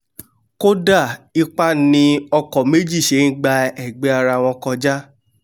kódà ipá ni ọkọ̀ méjì ṣe ń gba ẹ̀gbẹ́ arawọn kọjá